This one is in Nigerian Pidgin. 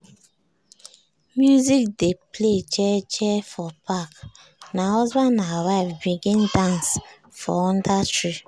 music dey play jeje for park na husband and wife begin dance for under tree.